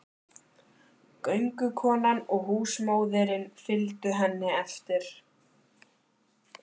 Göngukonan og húsmóðirin fylgdu henni eftir.